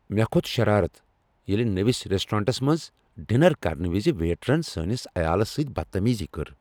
مےٚ کھوٚت شرارت ییٚلہ نٔوس ریسٹورانٹس منز ڈنر کرن وز ویٹرن سٲنس عیالس سۭتۍ بدتمیزی کٔر۔